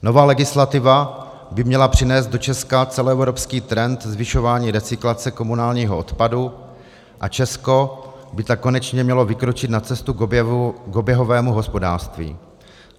"Nová legislativa by měla přinést do Česka celoevropský trend zvyšování recyklace komunálního odpadu, a Česko by tak konečně mělo vykročit na cestu k oběhovému hospodářství."